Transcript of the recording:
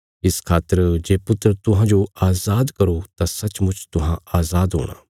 इस खातर जे पुत्र तुहांजो अजाद करो तां सचमुच तुहां अजाद हूणा